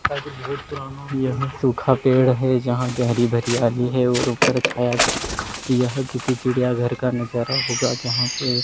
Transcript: यह सूखा पेड़ है जहां पे हरी भरी याली है ऊपर छाया यह किसी चिड़िया घर का नजारा होगा जहां पे--